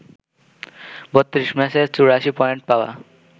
৩২ ম্যাচে ৮৪ পয়েন্ট পাওয়া